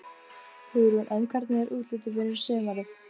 Það var ekki kvíðvænlegt hlutskipti að lenda í Steininum.